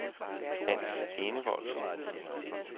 Hans Enevoldsen